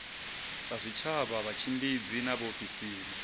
sa zwitshavha vhatshimbidzi na vhaofisiri